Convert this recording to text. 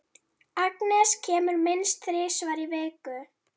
Agnes kemur minnst þrisvar í viku.